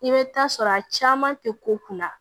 I bɛ taa sɔrɔ a caman tɛ ko kunna